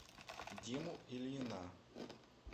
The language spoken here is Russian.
диму ильина